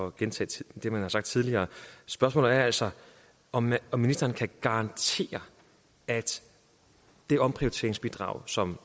at gentage det man har sagt tidligere spørgsmålet er altså om om ministeren kan garantere at det omprioriteringsbidrag som